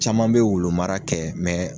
Caman be wulumara kɛ